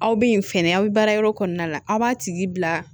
Aw bɛ yen fɛnɛ aw bɛ baarayɔrɔ kɔnɔna la aw b'a tigi bila